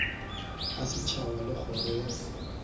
a setšhaba le kgoro ya